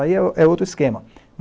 Aí é outro, é outro esquema.